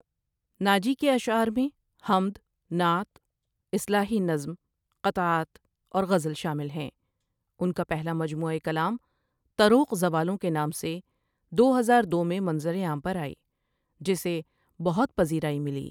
ناجی کےاشعار میں حمد، نعت، اصلاحی نظم، قطعات، اور عزل شامل ہیںّ، ان کا پہلا مجموعہ کلام تروق زوالوں کے نام سے دو ہزار دو میں منظر عام پر آئ جسےبہت پذیرائ ملی ۔